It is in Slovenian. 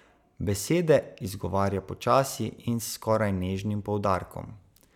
Besede izgovarja počasi in s skoraj nežnim poudarkom.